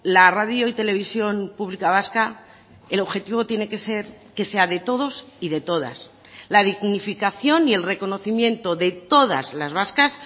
la radio y televisión pública vasca el objetivo tiene que ser que sea de todos y de todas la dignificación y el reconocimiento de todas las vascas